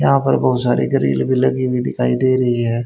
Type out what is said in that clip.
यहां पर बहोत सारे ग्रिल भी लगी हुई दिखाई दे रही है।